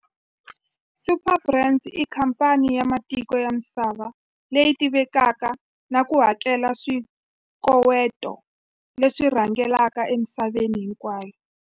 Superbrands i khamphani ya matiko ya misava leyi tivekaka na ku hakela swikoweto leswi rhangelaka emisaveni hinkwayo.